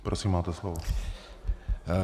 Prosím, máte slovo.